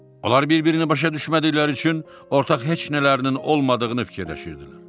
Onlar bir-birini başa düşmədikləri üçün ortaq heç nələrinin olmadığını fikirləşirdilər.